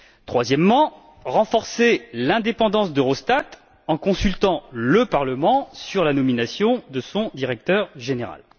troisièmement, renforcer l'indépendance d'Eurostat, en consultant le Parlement sur la nomination de son directeur général.